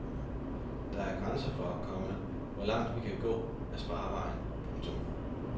Der er grænser for, komma hvor langt vi kan gå af sparevejen. punktum